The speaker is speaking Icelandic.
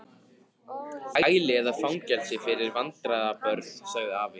Hæli eða fangelsi fyrir vandræða- börn sagði afi.